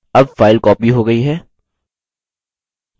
अब file copied हो गई है